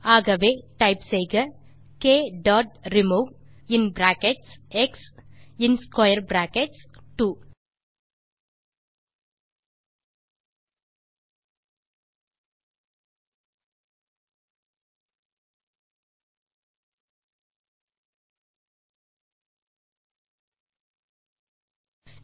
ஆகவே டைப் செய்க க் டாட் ரிமூவ் மற்றும் இன் பிராக்கெட்ஸ் எக்ஸ் மற்றும் ஸ்க்வேர் பிராக்கெட்ஸ் 2